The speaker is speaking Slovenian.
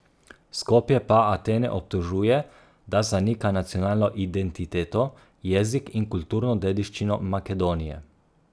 Skopje pa Atene obtožuje, da zanika nacionalno identiteto, jezik in kulturno dediščino Makedonije.